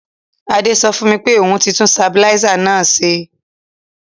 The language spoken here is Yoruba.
Adé so fùn mi pe oun ti tun stabilizer náà se